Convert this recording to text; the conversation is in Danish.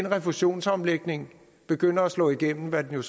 refusionsomlægningen begynder at slå igennem hvad den